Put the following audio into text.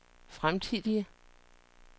fremtidige